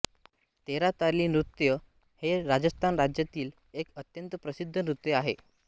तेरा ताली नृत्य हे राजस्थान राज्यातील एक अत्यंत प्रसिद्ध नृत्य आहे